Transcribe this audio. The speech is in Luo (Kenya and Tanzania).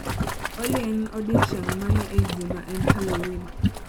Olly en odiechieng' mane ei juma en halloween